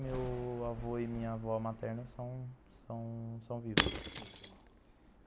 Meu avô e minha avó materna são são são vivos. Entendi.